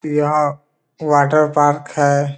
यहाँ water park है।